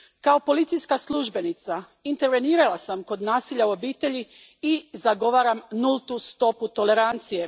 Kao policijska službenica intervenirala sam kod nasilja u obitelji i zagovaram nultu stopu tolerancije.